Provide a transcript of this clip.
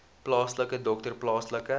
plaaslike dokter plaaslike